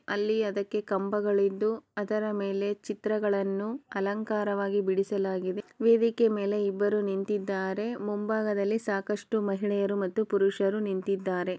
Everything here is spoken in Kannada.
ಅಲ್ಲಿ ಅದಕ್ಕೆ ಕಂಬಗಳಿದ್ದು ಅದರ ಮೇಲೆ ಚಿತ್ರಗಳನ್ನು ಅಲಂಕಾರವಾಗಿ ಬಿಡಿಸಲಾಗಿದೆ ವೇದಿಕೆ ಮೇಲೆ ಇಬ್ಬರು ನಿಂತಿದ್ದಾರೆ ಮುಂಭಾಗದಲ್ಲಿ ಸಾಕಷ್ಟು ಮಹಿಳೆಯರು ಮತ್ತು ಪುರುಷರು ನಿಂತಿದ್ದಾರೆ.